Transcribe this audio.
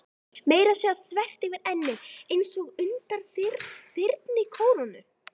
Meira að segja þvert yfir ennið, einsog undan þyrnikórónu.